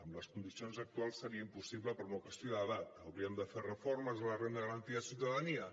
amb les condicions actuals seria impossible per una qüestió d’edat hauríem de fer reformes a la renda garantida de ciutadania